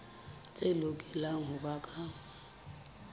tse lokelang ho ba ka